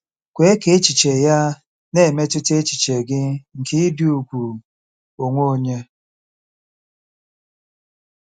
Kwe ka echiche ya na-emetụta echiche gị nke ịdị ùgwù onwe onye.